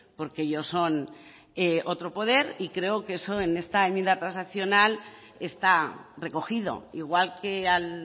porque ellos son otro poder y creo que eso en esta enmienda transaccional está recogido igual que al